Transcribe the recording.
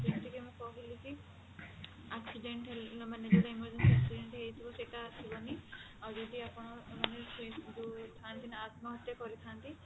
ଯେମିତିକି ମୁଁ କହିଲି କି accident ହେଲେ ମାନେ ଯୋଉଟା emergency accident ହେଇଥିବ ସେଟା ଆସିବନି ଆଉ ଯଦି ଆପଣ ମାନେ ସେଇ ଯୋଉ ଥାନ୍ତି ନା ଆତ୍ମହତ୍ୟା କରିଥାନ୍ତି